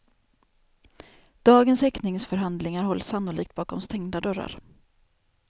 Dagens häktningsförhandlingar hålls sannolikt bakom stängda dörrar.